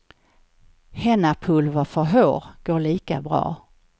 Hennapulver för hår går lika bra.